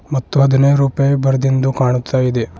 ಮತ್ತು ಹದನೈದ್ ರೂಪಾಯಿ ಬರೆದಿಂದು ಕಾಣ್ತಾ ಇದೆ.